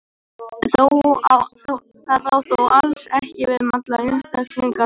Það á þó alls ekki við um alla einstaklinga tegundarinnar.